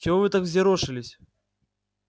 чего вы так взъерошились